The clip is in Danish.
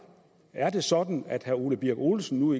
er det sådan at herre ole birk olesen nu